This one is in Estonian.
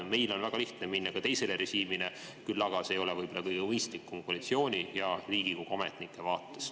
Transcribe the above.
Meil on väga lihtne minna üle teisele režiimile, küll aga see ei ole võib-olla kõige mõistlikum koalitsiooni ja Riigikogu ametnike vaates.